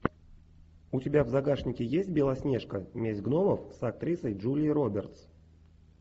у тебя в загашнике есть белоснежка месть гномов с актрисой джулией робертс